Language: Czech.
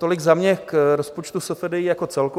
Tolik za mě k rozpočtu SFDI jako celku.